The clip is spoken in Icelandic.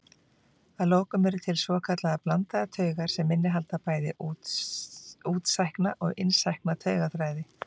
Að lokum eru til svokallaðar blandaðar taugar sem innihalda bæði útsækna og innsækna taugaþræði.